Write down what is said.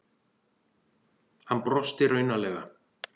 Hann brosti raunalega.